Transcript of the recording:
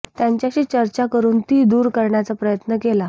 त्यांच्याशी चर्चा करून ती दूर करण्याचा प्रयत्न केला